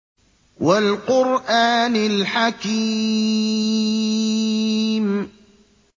وَالْقُرْآنِ الْحَكِيمِ